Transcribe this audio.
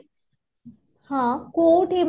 ହଁ କୋଉଠି ?